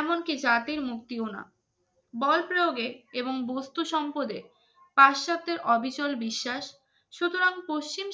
এমনকি জাতির মুক্তি ও না বল প্রয়োগে এবং বস্তু সম্পদের অবিচল বিশ্বাস সুতরাং